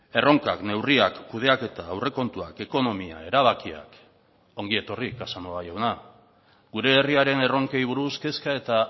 erronkak neurriak kudeaketa aurrekontuak ekonomia erabakiak ongietorri casanova jauna gure herriaren erronkei buruz kezka eta